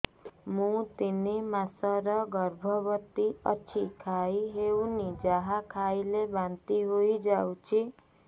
ମୁଁ ତିନି ମାସର ଗର୍ଭବତୀ କିଛି ଖାଇ ହେଉନି ଯାହା ଖାଇଲେ ବାନ୍ତି ହୋଇଯାଉଛି